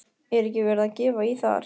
Er ekki verið að gefa í þar?